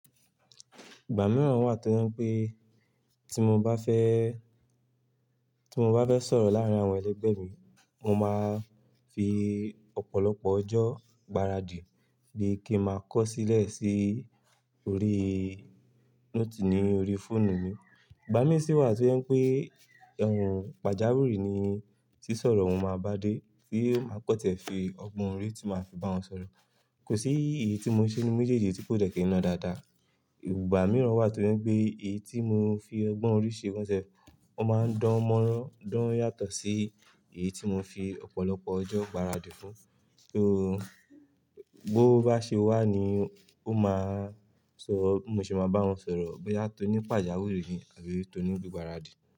Ìgbà mìíràn wà tí o je un pé tí mo bá fẹ́, tí mo bá fẹ́ sọ̀rọ̀ láàárín àwọn ẹlẹgbẹ́ mi, mo máa fi ọ̀pọ̀lọpọ̀ ọjọ́ gbáradì di kí máa kọ sílẹ̀ sí orí note ní orí fóònù mi. Ìgbà mí sì wà tí je pé ùn pàjáwìrì ni tí sọ̀rọ̀ hun máa bá dé, tí ó máa kan tiè fi ọgbọ́n orí tí máa fi bá wọn sọ̀rọ̀. Kò sí èyí tí mo ṣe inú méjèèjì tí kò de ki lo dáadáa. Ìgbà mìíràn wà tí wọ́n pé èyí tí mo fi ọgbọ́n orí ṣe gan self, o máa ń dánmọ́rán, dán yàtọ̀ sí èyí tí mo fi ọ̀pọ̀lọpọ̀ ọjọ́ gbáradì fún. Bó bá ṣe wà ni ó máa sọ, bi mo ṣe máa bá wọn sọ̀rọ̀ bóyá tó ní pàjáwìrì ni àbí tó ní gbígbáradì.